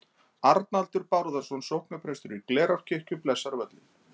Arnaldur Bárðarson sóknarprestur í Glerárkirkju blessar völlinn.